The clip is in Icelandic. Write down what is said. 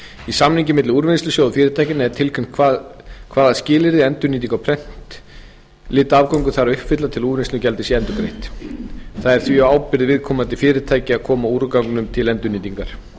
í samningi milli úrvinnslusjóðs og fyrirtækjanna er tilgreint hvaða skilyrði endurnýting á prentlitaafgöngum þarf að uppfylla til að úrvinnslugjaldið sé endurgreitt það er því á ábyrgð viðkomandi fyrirtækja að koma úrganginum til endurnýtingar í